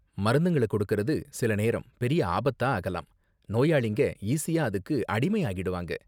மருந்துங்கள கொடுக்கிறது சில நேரம் பெரிய ஆபத்தா ஆகலாம், நோயாளிங்க ஈஸியா அதுக்கு அடிமையாகிடுவாங்க.